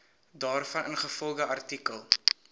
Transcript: daarvan ingevolge artikel